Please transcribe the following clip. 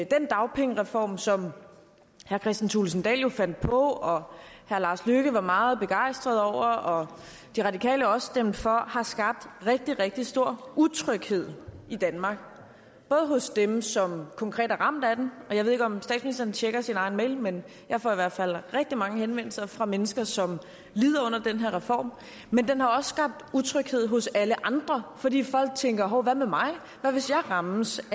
den dagpengereform som herre kristian thulesen dahl jo fandt på og herre lars løkke rasmussen var meget begejstret over og de radikale også stemte for har skabt rigtig rigtig stor utryghed i danmark hos dem som konkret er ramt af den og jeg ved ikke om statsministeren tjekker sin egen e mail men jeg får i hvert fald rigtig mange henvendelser fra mennesker som lider under den her reform men den har også skabt utryghed hos alle andre fordi folk tænker hov hvad med mig hvad hvis jeg rammes